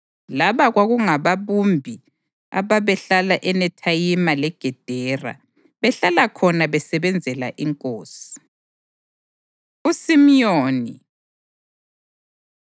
Laba kwakungababumbi ababehlala eNethayimi leGedera; behlala khona besebenzela inkosi. USimiyoni